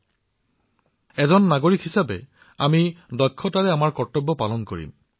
নাগৰিক হিচাপে আমি আমাৰ জীৱনত যিমান পাৰি সিমান দক্ষতাৰে আমাৰ কৰ্তব্য পালন কৰিম